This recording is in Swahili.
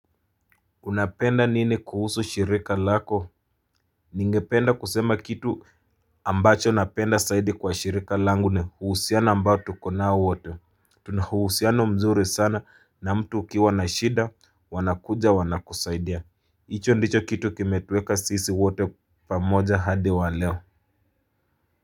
Unapenda nini kuhusu shirika lako? Ningependa kusema kitu ambacho napenda saidi kwa shirika langu ni uhusiono ambayo tukonao wote. Tunahuhusiano mzuri sana na mtu ukiwa na shida, wanakuja, wanakusaidia. Icho ndicho kitu kimetuweka sisi wote pamoja hadi waleo.